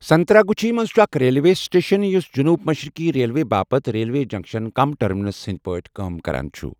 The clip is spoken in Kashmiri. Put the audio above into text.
سنتراگچھی منٛز چھُ اکھ ریلوے سٹیشن یُس جنوٗب مشرقی ریلوے باپتھ ریلوے جنکشن کم ٹرمینس ہٕنٛدۍ پٲٹھۍ کٲم کران چھُ۔